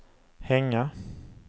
hänga